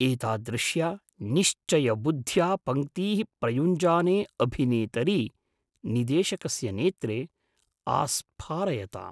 एतादृश्या निश्चयबुद्ध्या पङ्क्तीः प्रयुञ्जाने अभिनेतरि, निदेशकस्य नेत्रे आस्फारयताम्।